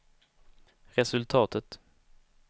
resultatet